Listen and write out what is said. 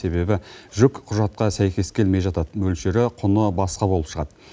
себебі жүк құжатқа сәйкес келмей жатады мөлшері құны басқа болып шығады